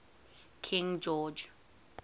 king george